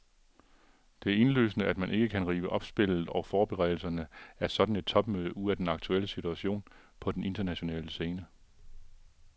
Det er indlysende, at man ikke kan rive opspillet og forberedelserne af et sådant topmøde ud af den aktuelle situation på den internationale scene.